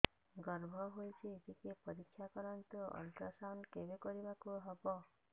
ଗର୍ଭ ହେଇଚି ଟିକେ ପରିକ୍ଷା କରନ୍ତୁ ଅଲଟ୍ରାସାଉଣ୍ଡ କେବେ କରିବାକୁ ହବ